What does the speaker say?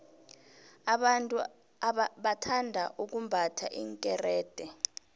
abantu bathanda ukumbatha iinkerede